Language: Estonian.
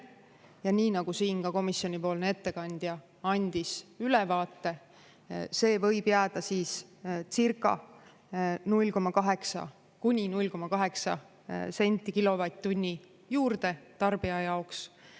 Ja nii nagu siin ka komisjonipoolne ettekandja andis ülevaate, see võib jääda siis circa kuni 0,8 senti kilovatt-tunni juurde tarbija jaoks.